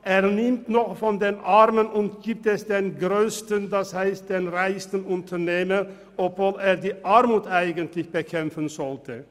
– Er nimmt noch von den Armen und gibt es den Grössten, das heisst den reichsten Unternehmen, obwohl er die Armut eigentlich bekämpfen sollte.